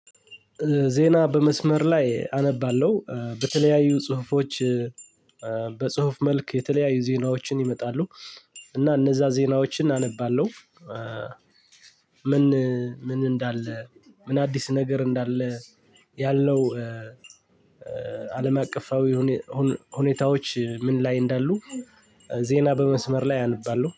ዜና በመስመር ላይ አነባለሁ በተለያዩ ጽሁፎች። በጽሁፍ መልክ የተለያዩ ዜናዎችን ይመጣሉ። እና እነዛ ዜናዎችን አነባለሁ። ምን ምን እንዳለ ምን አዲስ ነገር እንዳለ ያለው። አለም አቀፋዊ ሁኔታዎች ምን ላይ እንዳሉ። ዜና በመስመር ላይ አነባለሁ